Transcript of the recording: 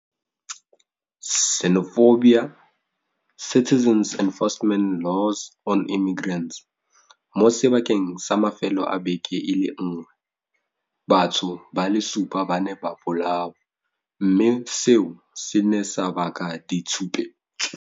Mo sebakeng sa mafelo a beke e le nngwe, batho ba le supa ba ne ba bolawa, mme seo se ne sa baka ditshupetso.